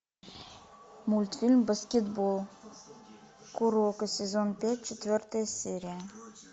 мультфильм баскетбол куроко сезон пять четвертая серия